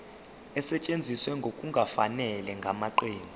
esetshenziswe ngokungafanele ngamaqembu